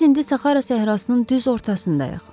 Biz indi Saxara səhrasının düz ortasındayıq.